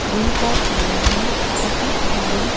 दिन का टाइम है बहुत सारे--